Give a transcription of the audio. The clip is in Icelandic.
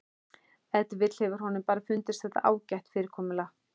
Ef til vill hefur honum bara fundist þetta ágætt fyrirkomulag.